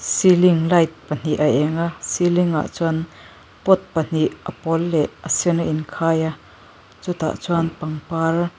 ceiling light pahnih a eng a ceiling ah chuan pot pahnih a pawl leh a sen a in khai a chutah chuan pangpar --